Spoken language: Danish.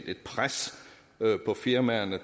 et pres på firmaerne